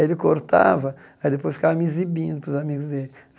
Ele cortava e aí depois ficava me exibindo para os amigos dele.